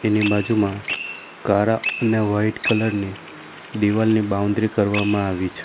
એની બાજુમાં કારા અને વાઈટ કલર ની દિવાલની બાઉન્દ્રિ કરવામાં આવી છે.